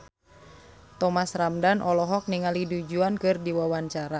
Thomas Ramdhan olohok ningali Du Juan keur diwawancara